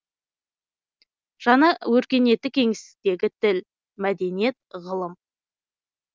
жаңа өркениеттік кеңістіктегі тіл мәдениет ғылым